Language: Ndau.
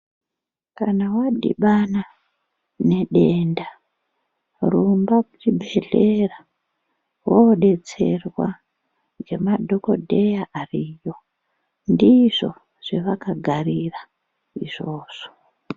Kana wadhibana nedenda rumba kuchibhedhlera wodetserwa nemadhokoteya ariyo ndizvo zvavakagarira izvozvo.